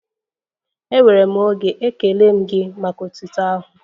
Enwere m oge, ekele m gị maka otuto ahụ.